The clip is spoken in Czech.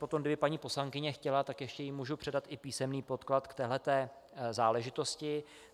Potom kdyby paní poslankyně chtěla, tak ještě jí můžu předat i písemný podklad k téhle záležitosti.